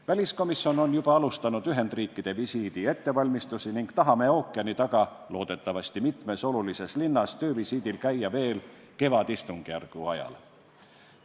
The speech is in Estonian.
Väliskomisjon on juba alustanud Ühendriikide visiidi ettevalmistamist ning loodame ookeani taga mitmes olulises linnas töövisiidil käia veel kevadistungjärgu ajal.